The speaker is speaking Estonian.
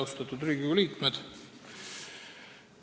Austatud Riigikogu liikmed!